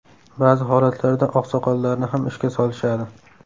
Ba’zi holatlarda oqsoqollarni ham ishga solishadi.